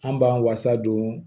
An b'an fasa don